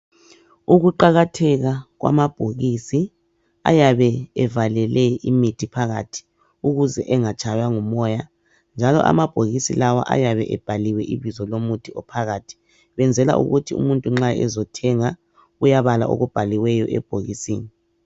Ukuqakatheka kwamabhokisi ayabe evalele imithi phakathi ukuze engatshaywa ngumoya njalo amabhokisi lawa ayabe ebhaliwe ibizo lomuthi oyabe uphakathi benzela ukuthi umuntu nxa ezothenga uyabala okubhaliweyo ebhokisini.